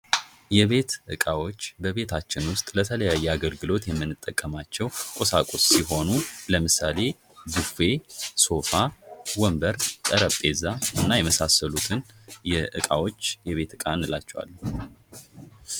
የቤት እቃዎች በቤታችን ዉስጥ ለተለያየ አገልግሎት የምንጠቀማቸዉ ቁሳቁስ ሲሆኑ ለምሳሌ ቡፌ፣ ሶፋ፣ ወንበር፣ ጠረጴዛ እና የመሳሰሉትን እቃዎች የቤት እቃ እንላቸዋለን።